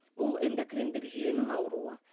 бұл эндокриндік жүйенің ауруы